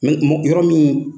yɔrɔ min